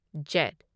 Z